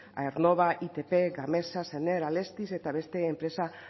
aernnova itp gamesa sener alestis eta beste enpresa